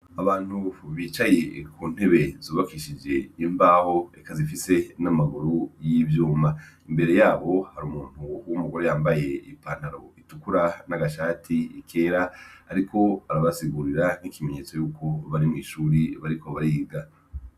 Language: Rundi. Abantu bicaye ku ntebe zubakishije imbaho, zikaba zifise n' amaguru y' ivyuma. Imbere yabo, hari umuntu w' umugore yambaye ipantalo itukura n' amashati kera , ariko arabasigurira ikimenyetso y' uko bari mw' ishuri bariko bariga.